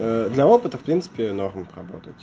для опытов в принципе нормально поработать